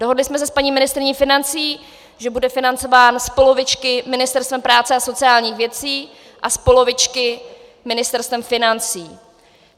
Dohodli jsme se s paní ministryní financí, že bude financován z polovičky Ministerstvem práce a sociálních věcí a z polovičky Ministerstvem financí.